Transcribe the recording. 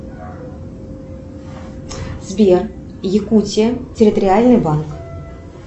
сбер якутия территориальный банк